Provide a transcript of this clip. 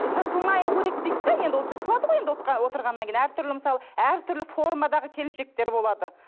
ы жыртылмай керек дейді де енді ол жыртылады ғой отырғаннан кейін әртүрлі мысалы әртүрлі формадағы келіншектер болады